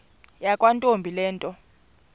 yakwantombi le nto